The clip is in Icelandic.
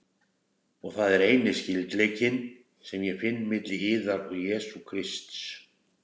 Og það er eini skyldleikinn, sem ég finn milli yðar og Jesú Krists.